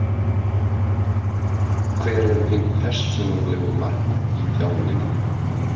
Hver eru þín persónulegu markmið í þjálfuninni?